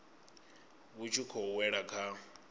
vhu tshi khou wela kha